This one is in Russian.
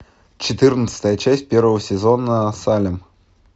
четырнадцатая часть первого сезона салем